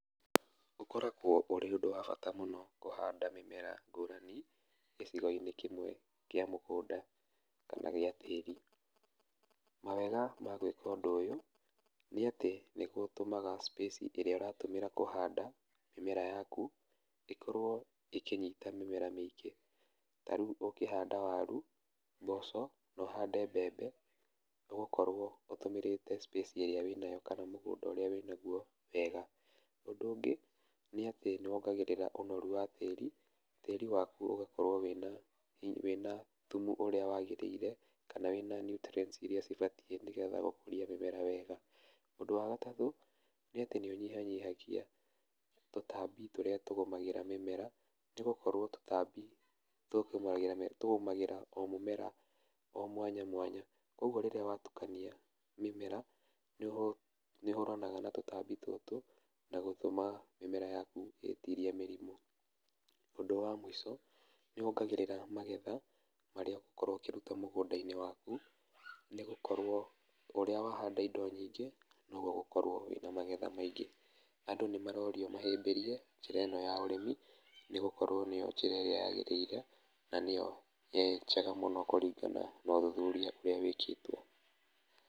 Ũkoragwo ũrĩ ũndũ wa bata mũno kũhanda mĩmera ngũrani gĩcigo-inĩ kĩmwe kĩa mũgũnda, kana gĩa tĩri. Mawega ma gwĩka ũndũ ũyũ, nĩatĩ nĩgũtũmaga space ĩrĩa ũratũmĩra kũhanda mĩmera yaku, ĩkorwo ĩkĩnyita mĩmera mĩingĩ, ta rĩu ũngĩhanda waru, noho ũhande mbembe, ũgũkorwo ũtũmĩrĩte space ĩrĩa wĩnayo kana mũgũnda ũrĩa wĩnaguo wega. Ũndũ ũngĩ nĩatĩ nowongagĩrĩra ũnoru wa tĩri, tĩri waku ũgakorwo wĩna hi wĩna thumu ũrĩa wagĩrĩire, kana wĩna nutrients iria cibatiĩ nĩgetha gũkũria mĩmera wega. ũndũ wa gatatũ, nĩa tĩ nĩũnyihanyihagia tũtambi tũrĩa tũgũmagĩra mĩmera, tũgakorwo tũtambi tũtũ no tũgũmagĩra o mũmera o mwanya mwanya, koguo rĩrĩa watukania mĩmera, nĩũhũ nĩũhũranaga na tũtambi tũtũ, na gũtũma mĩmera yaku ĩtirie mĩrimũ. Ũndũ wa mũico, nĩwongagĩrĩra magetha marĩa ũgũkorwo ũkĩruta mũgũnda-inĩ waku, nĩgũkowo ũrĩa wahanda indo nyingĩ, noguo ũgũkorwo wĩna magetha maingĩ, andũ nĩmarorio mahĩmbĩrie, njĩra ĩno ya ũrĩmi, nĩgũkorwo nĩyo njĩra ĩrĩa yagĩrĩire, na níyo, ĩ njega mũno kũringana na ũthuthuria ũrĩa wĩkĩtwo.